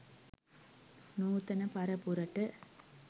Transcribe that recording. නූතන පරපුරට